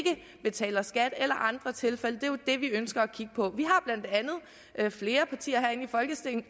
betaler skat eller andre tilfælde jo det vi ønsker at kigge på der er flere partier herinde i folketinget